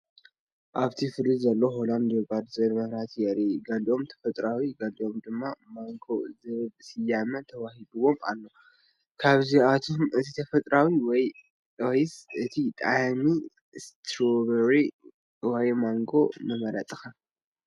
ኣብቲ ፍሪጅ ዘሎ “ሆላንድ ዮጋርት” ዝብል መብራህቲ የርኢ። ገሊኦም “ተፈጥሮኣዊ” ገሊኦም ድማ “ማንጎ” ዝብል ስያመ ተዋሂብዎም ኣሎ። ካብዚኣቶም እቲ ተፈጥሮኣዊ ወይስ እቲ ጣዕሚ ስትሮቨሪ ወይስ ማንጎ ምመረጽካ?